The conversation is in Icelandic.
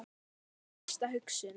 Það er mín fyrsta hugsun.